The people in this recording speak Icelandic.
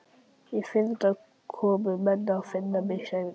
Í fyrradag komu menn að finna mig, sagði Daði.